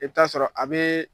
I bɛ t'a sɔrɔ a bɛ